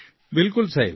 બિલકુલ સાહેબ